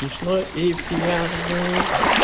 смешной и пьяный